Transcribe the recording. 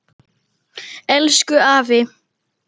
Elsku afi.